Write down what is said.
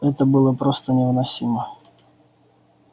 это было просто невыносимо